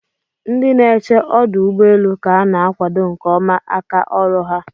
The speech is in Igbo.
Ndị na eche ọdọugbọeelu' ka ana akwado nke ọma aka ọrụ ha